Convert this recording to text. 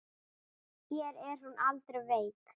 Hér er hún aldrei veik.